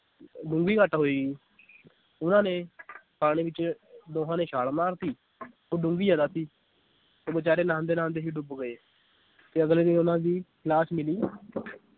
ਡੂੰਗੀ ਘੱਟ ਹੋਏੇਗੀ ਉਹਨਾਂ ਨੇ ਪਾਣੀ ਵਿਚ ਦੋਹਾਂ ਨੇ ਛਾ ਮਾਰਤੀ ਉਹ ਡੂੰਗੀ ਜ਼ਿਆਦਾ ਸੀ ਤੇ ਬੇਚਾਰੇ ਨਹਾਂਦੇ ਨਹਾਂਦੇ ਹੀ ਡੁੱਬ ਗਏ ਤੇ ਅਗਲੇ ਦਿਨ ਉਹਨਾਂ ਦੀ ਲਾਸ਼ ਮਿਲੀ